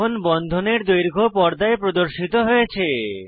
এখন বন্ধনের দৈর্ঘ্য পর্দায় প্রদর্শিত হয়েছে